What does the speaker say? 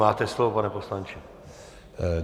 Máte slovo, pane poslanče.